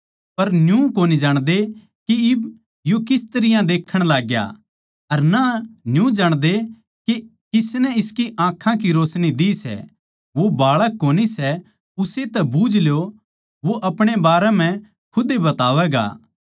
पर न्यू कोनी जाणदे के इब यो किस तरियां देक्खण लाग्या अर ना न्यू जाणदे के किसनै इसकी आँखां की रोशनी दि सै वो बाळक कोनी सै उस्से तै बुझल्यो वो अपणे बारै म्ह खुद ए बतावैगा